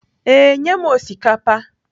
Ee, nye m osikapa.